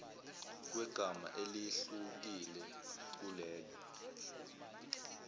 kwegama elehlukile kulelo